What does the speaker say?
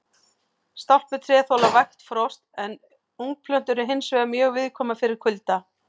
Stálpuð tré þola vægt frost en ungplöntur eru hins vegar mjög viðkvæmar fyrir kulda.